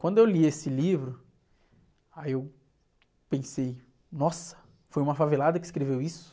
Quando eu li esse livro, aí eu pensei, nossa, foi uma favelada que escreveu isso?